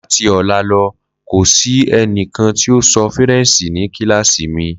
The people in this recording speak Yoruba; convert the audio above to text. Lati ọla nitorina Fort ko si ẹnikan ti o sọ Faranse ni kilasi mi.